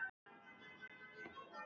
Glymur og hverfist um okkur.